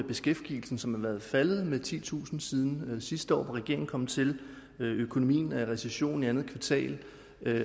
beskæftigelsen som er faldet med titusind siden sidste år hvor regeringen kom til økonomien var i recession i andet kvartal